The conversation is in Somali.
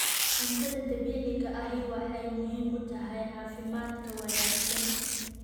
Cuntada dabiiciga ahi waxay muhiim u tahay caafimaadka wanaagsan.